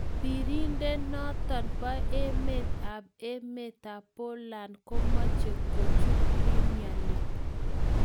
Pirindenoton po emet ap emet ap Poland komoche kuchut premier leaque.